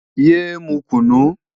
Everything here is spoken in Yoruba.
Yé é mu kùnú!